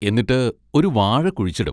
എന്നിട്ട് ഒരു വാഴ കുഴിച്ചിടും.